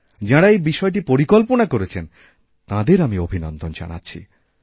যাঁরা এই বিষয়টি পরিকল্পনা করেছেন তাঁদের আমি অভিনন্দন জানাচ্ছি